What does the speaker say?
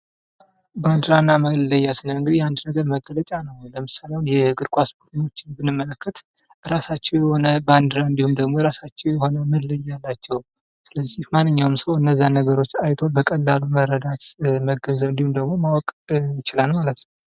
ባንዲራ እና መለያ ስንል እንግዲህ የአንድ ነገር መገለጫ ነው ። ለምሳሌ አሁን የእግር ኳስ ቡድኖችን ብንመለከት የራሳቸው የሆነ ባንዲራ እንዲሁም የራሳቸው የሆነ መለዮ አላቸው ። ስለዚህ ማንኛውም ሰው እነዛን ነገሮች አይቶ በቀላሉ መረዳት ፣ መገንዘብ እንዲሁም ደግሞ ማወቅ ይችላል ማለት ነው ።